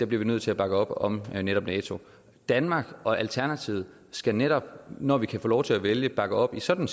bliver nødt til at bakke op om netop nato danmark og alternativet skal netop når vi kan få lov til at vælge bakke op i sådan